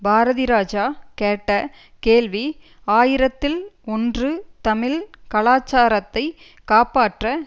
பாரதிராஜா கேட்ட கேள்வி ஆயிரத்தில் ஒன்று தமிழ் கலாச்சாரத்தை காப்பாற்ற